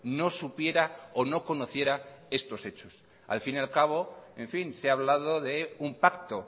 no supiera o no conociera estos hechos al fin y al cabo en fin se ha hablado de un pacto